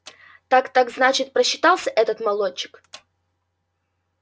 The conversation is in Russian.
так так значит просчитался этот молодчик